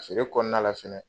A feere kɔnɔna la fɛnɛ